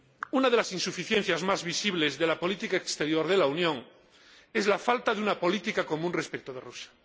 Una de las insuficiencias más visibles de la política exterior de la Unión es la falta de una política común respecto de Rusia.